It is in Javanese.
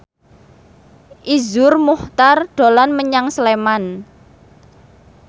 Iszur Muchtar dolan menyang Sleman